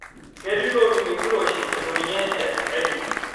Ketii loodung' enkiroshi eitu ninye eas aitoki.